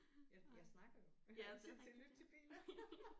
Jeg jeg snakker jo jeg har ikke tid til at lytte til bilen